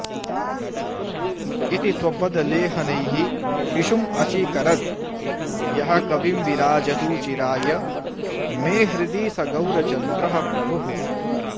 इति स्वपदलेहनैः शिशुमचीकरद् यः कविं विराजतु चिराय मे हृदि स गौरचन्द्रः प्रभुः